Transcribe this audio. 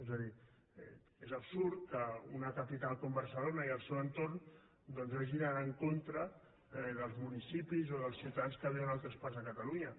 és a dir és absurd que una capital com barcelona i el seu entorn doncs hagi d’anar en contra dels municipis o dels ciutadans que viuen a altres parts de catalunya